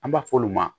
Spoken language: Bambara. An b'a f'olu ma